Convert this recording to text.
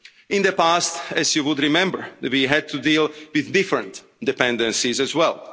In the past, as you would remember, we had to deal with different dependencies as